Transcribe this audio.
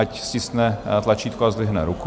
Ať stiskne tlačítko a zdvihne ruku.